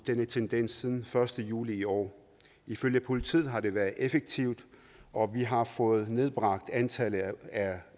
denne tendens siden den første juli i år ifølge politiet har det været effektivt og vi har fået nedbragt antallet